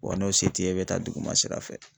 Wa n'o se t'i ye i bɛ taa duguma sira fɛ.